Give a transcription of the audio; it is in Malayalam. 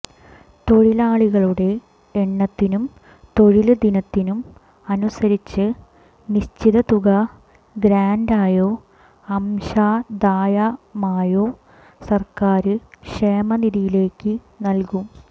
തൊഴിലാളികളുടെ എണ്ണത്തിനും തൊഴില് ദിനത്തിനും അനുസരിച്ച് നിശ്ചിത തുക ഗ്രാന്റായോ അംശാദായമായോ സര്ക്കാര് ക്ഷേമനിധിയിലേക്ക് നല്കും